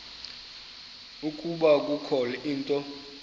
ukuba kukho into